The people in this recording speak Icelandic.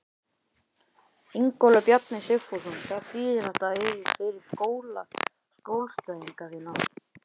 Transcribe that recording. Ingólfur Bjarni Sigfússon: Hvað þýðir þetta fyrir skjólstæðinga þína?